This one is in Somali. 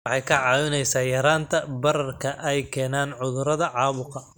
Waxay kaa caawinaysaa yaraynta bararka ay keenaan cudurrada caabuqa.